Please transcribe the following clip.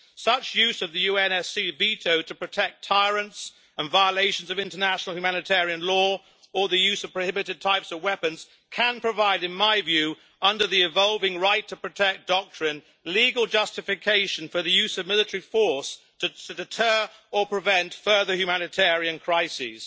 Such use of the UNSC veto to protect tyrants and violations of international humanitarian law, or the use of prohibited types of weapons can provide, in my view, under the evolving right to protect' doctrine, legal justification for the use of military force to deter or prevent further humanitarian crises.